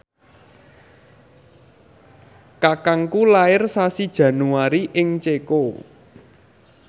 kakangku lair sasi Januari ing Ceko